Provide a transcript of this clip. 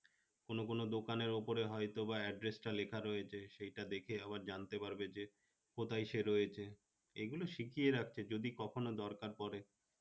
কোন কোন দোকানের উপরে হয়তোবা address টা লেখা রয়েছে সেটা দেখে আবার জানতে পারবে যে কোথায় রয়েছে রাখছে যদি কখনো দরকার পড়ে